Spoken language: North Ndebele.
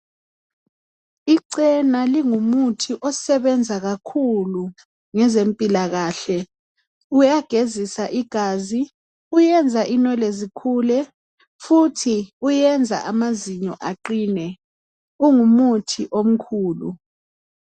Icena lingumuthi osebenza kakhulu ngezempilakahle, kuyagezisa igazi , kuyenza inwele zikhule futhi kuyenza amazinyo aqine kungumuthi omkhulu.